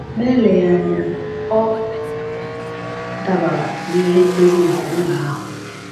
Ma eleghị anya, ọ dabara na ihe ndozi nke ụlọ ahụ.